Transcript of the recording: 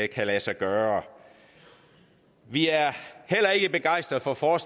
kan lade sig gøre vi er heller ikke begejstrede for for